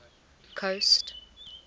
coast